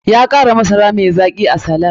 Ya kara masara mai zaki a salad.